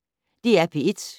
DR P1